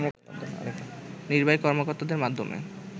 নির্বাহী কর্মকর্তাদের মাধ্যমে